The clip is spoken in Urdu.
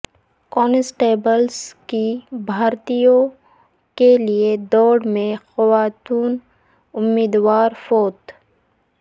کانسٹبلس کی بھرتیوں کیلئے دوڑ میں خاتون امیدوار فوت